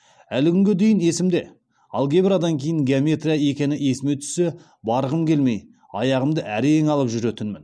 әлі күнге дейін есімде алгебрадан кейін геометрия екені есіме түссе барғым келмей аяғымды әрең алып жүретінмін